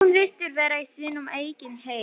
Hún virtist vera í sínum eigin heimi.